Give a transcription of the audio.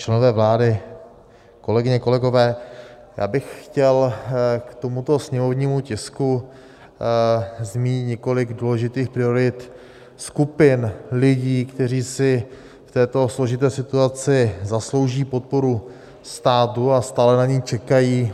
Členové vlády, kolegyně, kolegové, já bych chtěl k tomuto sněmovnímu tisku zmínit několik důležitých priorit skupin lidí, kteří si v této složité situaci zaslouží podporu státu a stále na ni čekají.